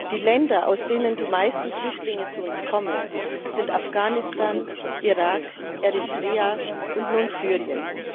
Die Länder, aus denen die meisten Flüchtlinge zu uns kommen, sind Afghanistan, Irak, Eritrea und nun Syrien.